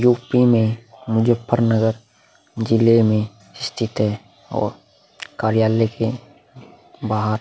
UP में मुजफ्फरनगर जिले में स्थित है और कार्यालय के बाहर --